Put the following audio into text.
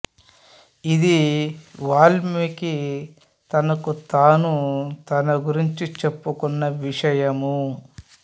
ఇది వాల్మీకి తనకు తాను తన గురించి చెప్పుకున్న విషయము